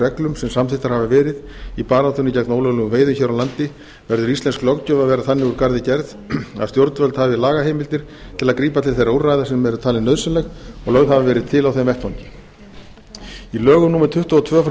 reglum sem samþykktar hafa verið í baráttunni gegn ólöglegum veiðum hér á landi verður íslensk löggjöf að vera þannig úr garði gerð að stjórnvöld hafi lagaheimildir til að grípa til þeirra úrræða sem eru talin nauðsynleg og lögð hafa verið til á þeim vettvangi í lögum númer tuttugu og tvö nítján